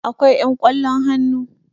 akwai yan ƙwallon hannu